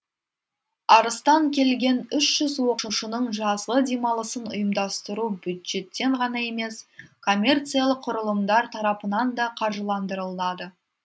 арыстан келген үш жүз оқушының жазғы демалысын ұйымдастыру бюджеттен ғана емес коммерциялық құрылымдар тарапынан да қаржыландырылады